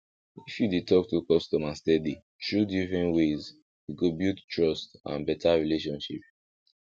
if you dey talk to customer steady through different ways e go build trust and better relationship